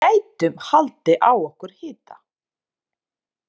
Við gætum haldið á okkur hita.